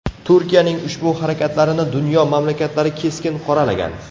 Turkiyaning ushbu harakatlarini dunyo mamlakatlari keskin qoralagan.